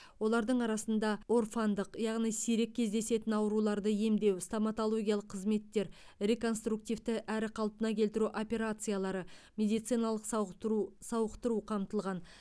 олардың арасында орфандық яғни сирек кездесетін ауруларды емдеу стоматологиялық қызметтер реконструктивті әрі қалпына келтіру операциялары медициналық сауықтыру сауықтыру қамтылған